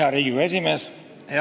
Hea Riigikogu esimees!